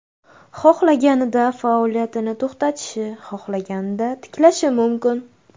Xohlaganida faoliyatini to‘xtatishi, xohlaganida tiklashi mumkin.